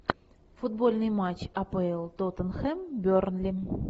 футбольный матч апл тоттенхэм бернли